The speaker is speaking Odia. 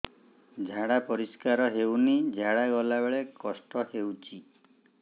ଝାଡା ପରିସ୍କାର ହେଉନି ଝାଡ଼ା ଗଲା ବେଳେ କଷ୍ଟ ହେଉଚି